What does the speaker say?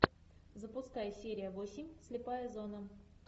запускай серия восемь слепая зона